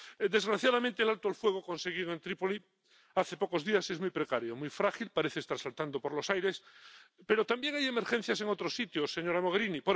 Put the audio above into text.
Desgraciadamente, el alto el fuego conseguido en Trípoli hace pocos días es muy precario, muy frágil parece estar saltando por los aires. Pero también hay emergencias en otros sitios, señora Mogherini